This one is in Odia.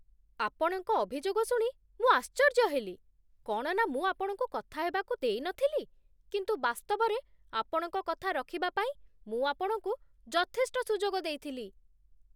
ଆପଣଙ୍କ ଅଭିଯୋଗ ଶୁଣି ମୁଁ ଆଶ୍ଚର୍ଯ୍ୟ ହେଲି, କ'ଣ ନା ମୁଁ ଆପଣଙ୍କୁ କଥାହେବାକୁ ଦେଇନଥିଲି, କିନ୍ତୁ ବାସ୍ତବରେ ଆପଣଙ୍କ କଥା ରଖିବା ପାଇଁ ମୁଁ ଆପଣଙ୍କୁ ଯଥେଷ୍ଟ ସୁଯୋଗ ଦେଇଥିଲି।